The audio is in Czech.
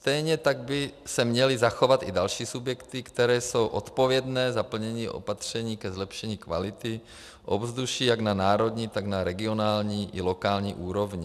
Stejně tak by se měly zachovat i další subjekty, které jsou odpovědné za plnění opatření ke zlepšení kvality ovzduší jak na národní, tak na regionální i lokální úrovni.